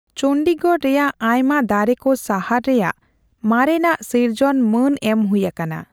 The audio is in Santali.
ᱪᱚᱱᱰᱤᱜᱚᱲ ᱨᱮᱭᱟᱜ ᱟᱭᱢᱟ ᱫᱟᱨᱮ ᱠᱚ ᱥᱟᱦᱟᱨ ᱨᱮᱭᱟᱜ ᱢᱟᱨᱮᱱᱟᱜ ᱥᱤᱨᱡᱚᱱ ᱢᱟᱹᱱ ᱮᱢ ᱦᱩᱭ ᱟᱠᱟᱱᱟ ᱾